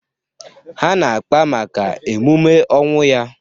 Ha na-akpa maka emume ọnwụ ya.